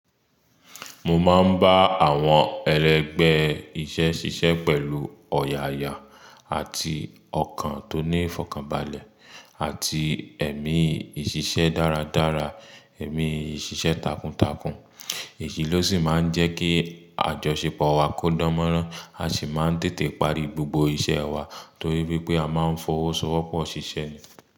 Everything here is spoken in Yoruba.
Mo máa ń bá àwọn ẹlẹgbẹ́ iṣẹ́ ṣiṣẹ́ pẹ̀lú ọ̀yààyà àti ọkàn tó ní ìfọ̀kànbalẹ̀ àti ẹ̀mí ìṣiṣẹ́ dáradára, ẹ̀mí ìṣiṣẹ́ takuntakun. Èyí ló sì máa ń jẹ́ kí àjọṣepọ̀ wa kó dánmọ́rán a sì máa ń tètè parí gbogbo iṣẹ́ wa torí wípé a máa ń fọwọ́sowọ́pọ̀ ṣiṣẹ́ ni.